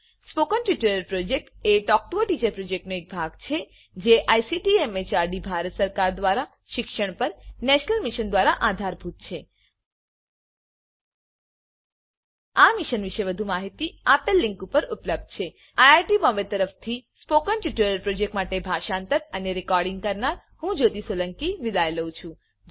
spoken tutorial project એ talk to a teacher પ્રોજેક્ટનો એક ભાગ છે જે આઇસીટી એમએચઆરડી ભારત સરકાર દ્વારા શિક્ષણ પર નેશનલ મિશન દ્વારા આધારભૂત છે આ મિશન પર વધુ માહીતી આ લીંક પર ઉપલબ્ધ છે httpspoken tutorialorgNMEICT Intro I I T Bombay તરફથી સ્પોકન ટ્યુટોરીયલ પ્રોજેક્ટ માટે ભાષાંતર કરનાર હું જ્યોતી સોલંકી વિદાય લઉં છું